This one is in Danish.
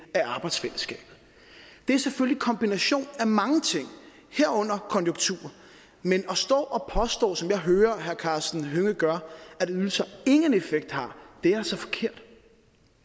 af arbejdsfællesskabet det er selvfølgelig en kombination af mange ting herunder konjunkturer men at stå og påstå som jeg hører at herre karsten hønge gør at ydelser ingen effekt har